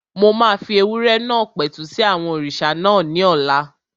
Mo máa fi ewúrẹ́ náà pẹ̀tù sí àwọn òrìṣà náà ní ọ̀la